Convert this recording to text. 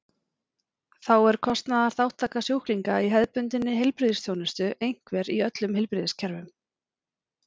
Þá er kostnaðarþátttaka sjúklinga í hefðbundinni heilbrigðisþjónustu einhver í öllum heilbrigðiskerfum.